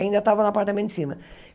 Ainda tava no apartamento de cima.